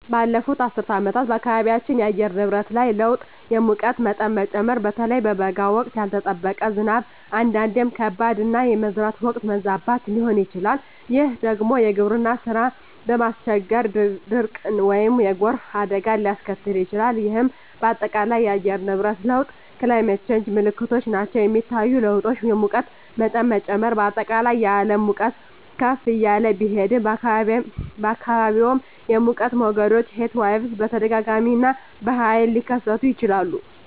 ባለፉት አስርት ዓመታት በአካባቢያችን የአየር ንብረት ላይ ለውጥ የሙቀት መጠን መጨመር (በተለይ በበጋ ወቅት)፣ ያልተጠበቀ ዝናብ (አንዳንዴም ከባድ)፣ እና የመዝራት ወቅት መዛባት ሊሆን ይችላል፤ ይህ ደግሞ የግብርና ሥራን በማስቸገር ድርቅን ወይም የጎርፍ አደጋን ሊያስከትል ይችላል፣ ይህም በአጠቃላይ የአየር ንብረት ለውጥ (Climate Change) ምልክቶች ናቸው. የሚታዩ ለውጦች: የሙቀት መጠን መጨመር: በአጠቃላይ የዓለም ሙቀት ከፍ እያለ ቢሄድም፣ በአካባቢዎም የሙቀት ሞገዶች (Heatwaves) በተደጋጋሚ እና በኃይል ሊከሰቱ ይችላሉ.